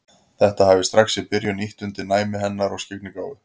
Þetta hafi strax í byrjun ýtt undir næmi hennar og skyggnigáfu.